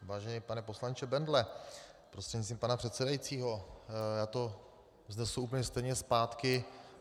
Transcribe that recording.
Vážený pane poslanče Bendle prostřednictvím pana předsedajícího, já to vznesu úplně stejně zpátky.